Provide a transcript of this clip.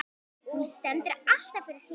Hún stendur alltaf fyrir sínu.